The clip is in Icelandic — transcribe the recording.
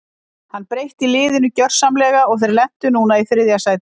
Hann breytti liðinu gjörsamlega og þeir lentu núna í þriðja sæti.